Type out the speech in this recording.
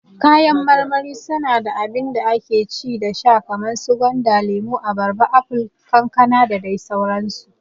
Kayan marmari su na abinda ake ci da sha kaman su gwanda, lemo, abarba, apol, kankana dadai sauran su